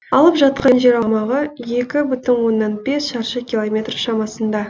алып жатқан жер аумағы екі бүтін оннан бес шаршы километр шамасында